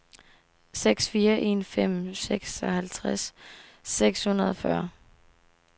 seks fire en fem seksoghalvtreds seks hundrede og fyrre